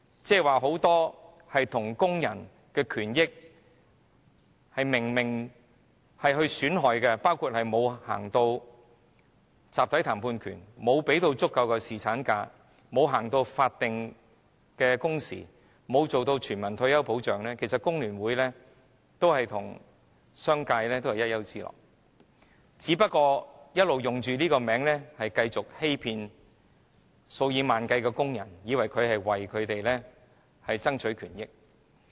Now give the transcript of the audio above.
對於很多有損工人權益的事情，包括沒有推行集體談判權、沒有給予足夠侍產假、沒有推行法定工時、沒有推行全民退休保障，其實工聯會與商界同是一丘之貉，只不過它打着"工聯會"的名號，欺騙數以萬計的工人，令他們誤以為這個工會會為他們爭取權益。